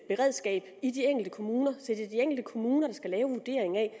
beredskab i de enkelte kommuner så de enkelte kommuner der skal lave vurderingen af